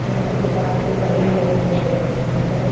यहां पे दीवाल पे बलून लगे हुए हैं अंदर--